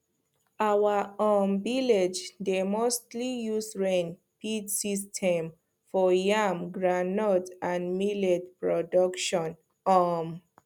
our um village dey mostly use rain feed system for yam groundnut and millet production um